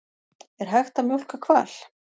Er hægt að mjólka hval?